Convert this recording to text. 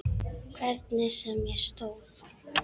Hvernig sem á stóð.